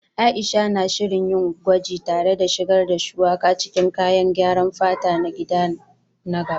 Aisha na shirin yin gwaji tare da shigar da Shuwaka cikin kayan gyaran fata na gida na gaba